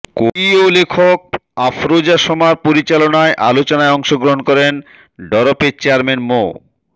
কবি ও লেখক আফরোজা সোমার পরিচালনায় আলোচনায় অংশগ্রহণ করেন ডরপের চেয়ারম্যান মো